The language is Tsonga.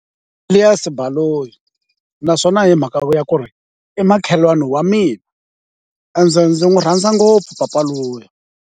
Elias Baloyi, naswona hi mhaka ya ku ri i makhelwani wa mina ende ndzi n'wi rhandza ngopfu papa luya.